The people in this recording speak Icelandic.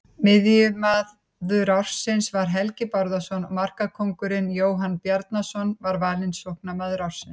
Miðjumaður ársins var Helgi Bárðarson og markakóngurinn Jóhann Bjarnason var valinn sóknarmaður ársins.